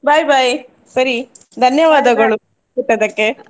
Bye ಸರಿ ಕೊಟ್ಟದಕ್ಕೆ.